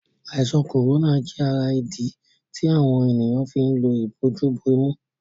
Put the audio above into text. Àìsàn corona jé ará idí tí àwọn ènìyàn fín ló Ìbojú-bomú